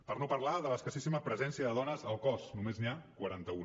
per no parlar de l’escassíssima presència de dones al cos només n’hi ha quaranta una